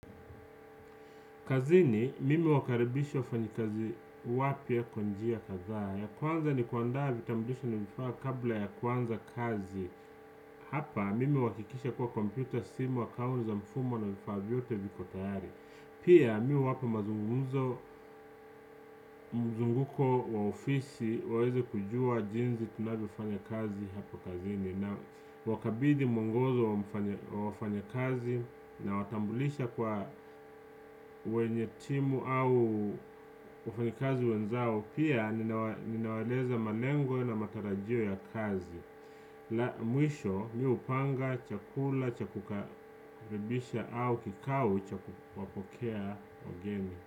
Kazini, mimi huwakaribisha mfanyakazi mpya, kazi ya kwanza ni kuandaa vitambulisho na vifaa kabla ya kuanza kazi. Hapa, mimi huhakikisha kwamba kompyuta, simu, akaunti za mfumo na vifaa vyote viko tayari. Pia, mimi huwapa mazungumzo, mzunguko wa ofisi ili waweze kujua jinsi tunavyofanya kazi hapo kazini. Nawakabidhi mwongozo wa wafanyakazi, nawatambulisha kwa wenzao wa timu au wafanyakazi wenzao. Pia ninawaeleza malengo na matarajio ya kazi. Mwisho mimi hupanga chakula cha kukaribisha au kikao cha kuwapokea wageni.